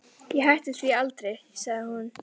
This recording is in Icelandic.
Ég hætti því aldrei, sagði hún.